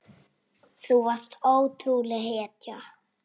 Þú varst ótrúleg hetja.